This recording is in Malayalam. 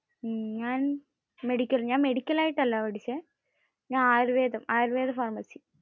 ഞാൻ മെഡിക്കൽ. മെഡിക്കൽ ആയിട്ട് അല്ല പഠിച്ചേ. ഞാൻ ആയുർവ്വേദം. ആയുർവേദ ഫർമസി